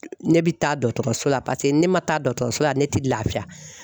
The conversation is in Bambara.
Ne bi taa dɔtɔrɔso la paseke ni ne man taa dɔtɔrɔso la ne tɛ laafiya.